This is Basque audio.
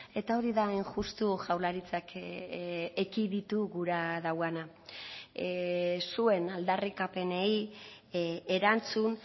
eta hori da hain justu jaurlaritzak ekiditu gura duena zuen aldarrikapenei erantzun